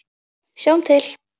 Sjáum til!